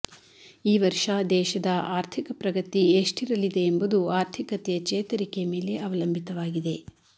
ಈ ವರ್ಷ ದೇಶದ ಆರ್ಥಿಕ ಪ್ರಗತಿ ಎಷ್ಟಿರಲಿದೆ ಎಂಬುದು ಆರ್ಥಿಕತೆಯ ಚೇತರಿಕೆ ಮೇಲೆ ಅವಲಂಬಿತವಾಗಿದೆ